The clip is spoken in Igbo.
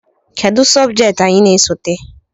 Kedu sobjekti anyị na-esote?